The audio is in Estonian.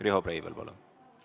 Riho Breivel, palun!